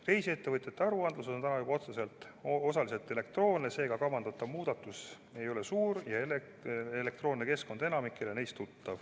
Reisiettevõtjate aruanded on täna juba osaliselt elektroonsed, seega kavandatav muudatus ei ole suur, elektroonne keskkond on enamikule neist tuttav.